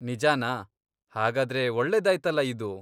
ನಿಜಾನಾ? ಹಾಗಾದ್ರೆ ಒಳ್ಳೇದಾಯ್ತಲ ಇದು!